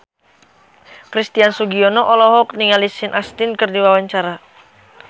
Christian Sugiono olohok ningali Sean Astin keur diwawancara